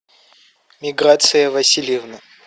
миграция васильевна